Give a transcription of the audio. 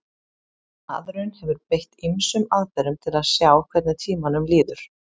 maðurinn hefur beitt ýmsum aðferðum til að sjá hvernig tímanum líður